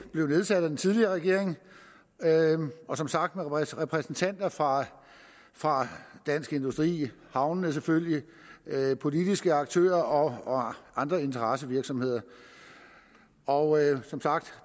blev nedsat af den tidligere regering og som sagt med repræsentanter fra fra dansk industri havnene selvfølgelig politiske aktører og andre interessevirksomheder og som sagt